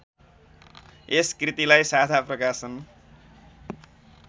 यस कृतिलाई साझा प्रकाशन